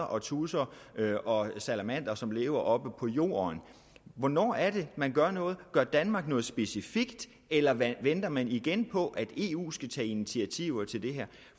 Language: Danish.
og tudser og salamandre som lever oppe på jorden hvornår er det man gør noget gør danmark noget specifikt eller venter man igen på at eu skal tage initiativer til det her